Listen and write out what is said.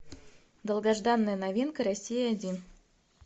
долгожданная новинка россия один